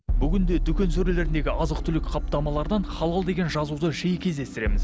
бүгінде дүкен сөрелеріндегі азық түлік қаптамалардан халал деген жазуды жиі кездестіреміз